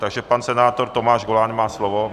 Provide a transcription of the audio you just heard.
Takže pan senátor Tomáš Goláň má slovo.